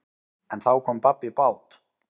En þá kom babb í bát.